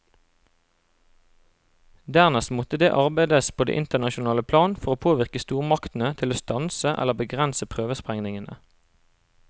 Dernest måtte det arbeides på det internasjonale plan for å påvirke stormaktene til å stanse eller begrense prøvesprengningene.